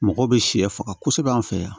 Mɔgɔw bɛ sɛ faga kosɛbɛ an fɛ yan